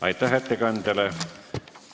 Aitäh ettekandjale!